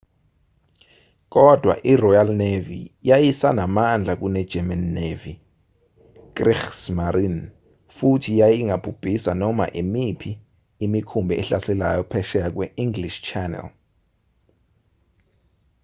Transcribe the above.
kodwa iroyal navy yayisanamandla kunegerman navy kriegsmarine futhi yayingabhubhisa noma imiphi imikhumbi ehlaselayo phesheya kwe-english channel